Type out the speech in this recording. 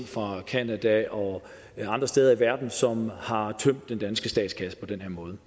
fra canada og andre steder i verden som har tømt den danske statskasse på den måde